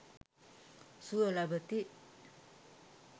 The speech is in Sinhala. සුව ලබති.